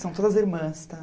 São todas irmãs, tá?